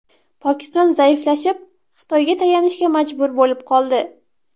Pokiston zaiflashib, Xitoyga tayanishga majbur bo‘lib qoldi.